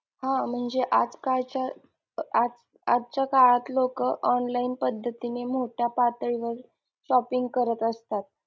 हा म्हणजे आज कालच्या अं आज आजच्या काळात लोक online पद्धतीने मोठ्या पातळीवर shopping करत असतात.